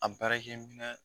A